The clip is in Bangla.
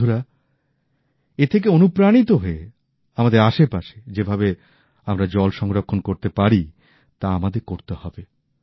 বন্ধুরা এ থেকে অনুপ্রাণিত হয়ে আমাদের আশেপাশে যেভাবে আমরা জল সংরক্ষণ করতে পারি তা আমাদের করতে হবে